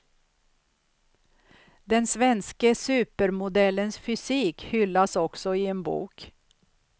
Den svenske supermodellens fysik hyllas också i en bok.